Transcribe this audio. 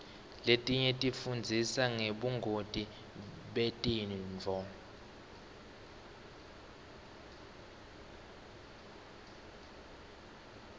letinye tifundzisa ngebungoti betifo